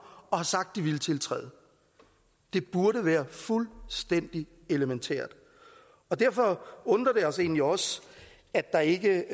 og har sagt de ville tiltræde det burde være fuldstændig elementært derfor undrer det os egentlig også at der ikke